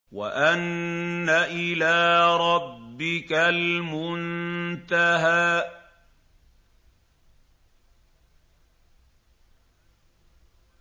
وَأَنَّ إِلَىٰ رَبِّكَ الْمُنتَهَىٰ